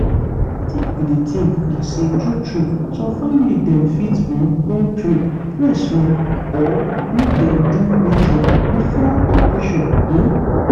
wetin i bin dey think na say true true some family dem fit um wan pray (rest small) or make dem do ritual before operation. um